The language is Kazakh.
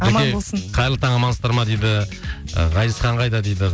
қайырлы таң амансыздар ма дейді ы ғазизхан қайда дейді